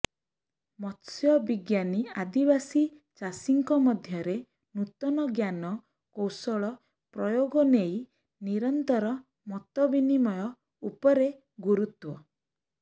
ମତ୍ସ୍ୟବିଜ୍ଞାନୀ ଆଦିବାସୀ ଚାଷୀଙ୍କ ମଧ୍ୟରେ ନୂତନ ଜ୍ଞାନ କୌଶଳ ପ୍ରୟୋଗ ନେଇ ନିରନ୍ତର ମତ ବିନିମୟ ଉପରେ ଗୁରୁତ୍ୱ